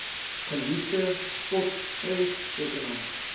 geliefde spot prenttekenaar